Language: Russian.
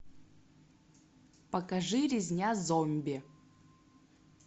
покажи резня зомби